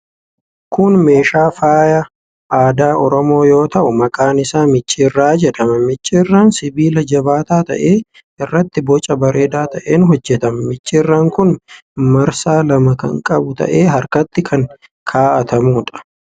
Kun meeshaa faayaa aadaa Oromoo yoo ta'u, maqaan isaa micciirraa jedhama. Micciirraan sibiila jabaataa ta'e irraatii boca bareedaa ta'een hojjetama. Micciirraan kun marsaa lama kan qabu ta'ee harkatti kan kaa'atamuudha.